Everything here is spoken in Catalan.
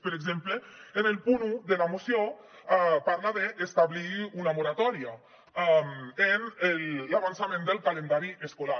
per exemple en el punt un de la moció parla d’establir una moratòria en l’avançament del calendari escolar